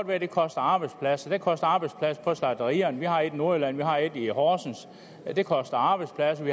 være det koster arbejdspladser det koster arbejdspladser på slagterierne vi har et i nordjylland vi har et i horsens det koster arbejdspladser